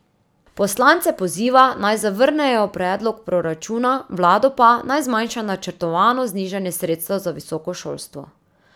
Poslance poziva, naj zavrnejo predlog proračuna, vlado pa, naj zmanjša načrtovano znižanje sredstev za visoko šolstvo.